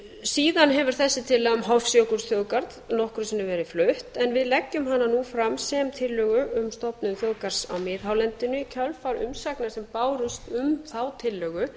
síðan hefur þessi tillaga um hofsjökulsþjóðgarð nokkrum sinnum verið flutt en við leggjum hana nú fram sem tillögu um stofnun þjóðgarðs á miðhálendinu í kjölfar umsagna sem bárust um þá tillögu